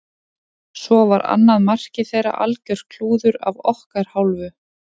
Svo var annað markið þeirra algjört klúður af okkar hálfu.